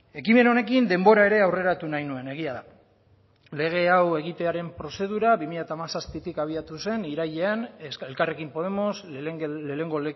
ekimen honekin denbora ere aurreratu nahi nuen egia da lege hau egitearen prozedura bi mila hamazazpitik abiatu zen irailean elkarrekin podemos lehenengo